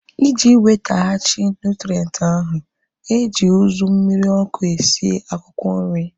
Iji wetaghachi nụtrenti ahu, eji uzu mmiri ọkụ esi akwụkwọ nri